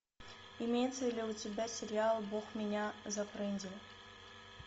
имеется ли у тебя сериал бог меня зафрендил